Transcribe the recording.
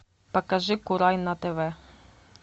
покажи курай на тв